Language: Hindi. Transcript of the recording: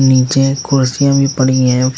नीचे कुर्सियां भी पड़ी हैं।